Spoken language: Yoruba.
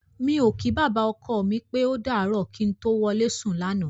Mi ò kí bàbá ọkọ mi pé ó dàárọ̀ kí n tó wọlé sùn lánàá.